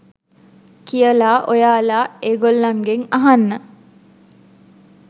කියලා ඔයාලා ඒ ගොල්ලන්ගෙන් අහගන්න.